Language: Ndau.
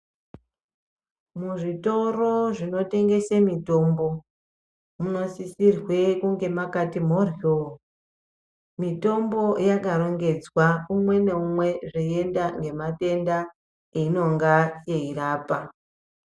Muzvitoro zvotengesa mitombo minosisirwe kunge makati mhorwo mitombo yakarongedzwa mumwe neumwe zveienda nematenda ainonga yeirapa.